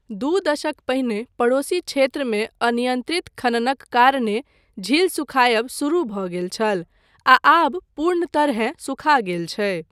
दू दशक पहिने पड़ोसी क्षेत्रमे अनियन्त्रित खननक कारणे, झील सुखायब शुरू भऽ गेल छल आ आब पूर्ण तरहेँ सुखा गेल छै।